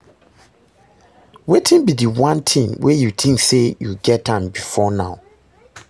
Wetin be di one thing wey you think say you get am before now?